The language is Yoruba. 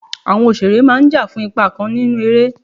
Àwọn òṣèré máà ń jà fún ipa kan nínú eré.